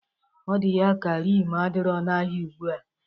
Ọ dị ya ka rim adirọ n'ahịa ugbua.